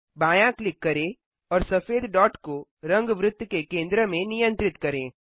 बायाँ क्लिक करें और सफेद डॉट को रंग वृत्त के केंद्र में नियंत्रित करें